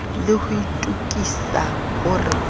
le ho itokisa ho re